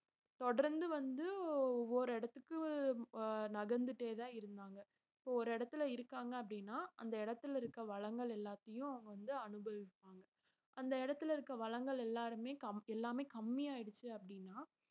தொடர்ந்து வந்து ஒவ்வொரு இடத்துக்கு அஹ் நகர்ந்துட்டே தான் இருந்தாங்க இப்ப ஒரு இடத்துல இருக்காங்க அப்படின்னா அந்த இடத்துல இருக்க வளங்கள் எல்லாத்தையும் வந்து அனுபவிப்பாங்க அந்த இடத்துல இருக்க வளங்கள் எல்லாருமே கம்~ எல்லாமே கம்மியாயிடுச்சு அப்படீன்னா